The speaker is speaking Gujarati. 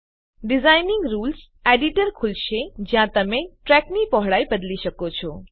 ડીઝાઇનીંગ રૂલ્સ એડિટર ખુલશે જ્યાં તમે ટ્રેકની પહોળાઈ બદલી શકો છો